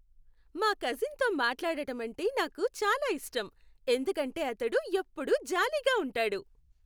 మా కజిన్తో మాట్లాడడమంటే నాకు చాలా ఇష్టం, ఎందుకంటే అతడు ఎప్పుడూ జాలీగా ఉంటాడు.